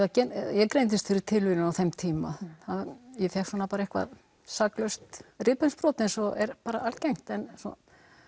ég greindist fyrir tilviljun á þeim tíma ég fékk saklaust rifbeinsbrot eins og er algengt en svo